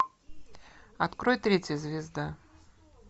открой третья звезда